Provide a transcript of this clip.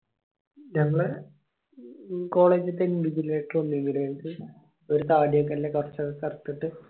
നമ്മള് college തന്നെ invigilator വന്നേ പ്രാവിശ്യം ഒരു തടിയൊക്കെ അല്ലെ കൊർച് കർത്തിട്ട്